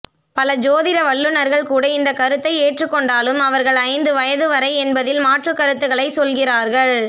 பல ஜோதிட வல்லுனர்கள் கூட இந்த கருத்தை ஏற்றுக்கொண்டாலும் அவர்கள் ஐந்து வயது வரை என்பதில் மாற்றுக்கருத்துக்களை சொல்கிறார்கள்